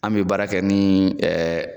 An bɛ baara kɛ ni